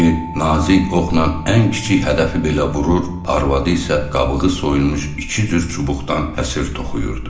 İndili nazik oxla ən kiçik hədəfi belə vurur, arvadı isə qabığı soyulmuş iki cür çubuqdan həsır toxuyurdu.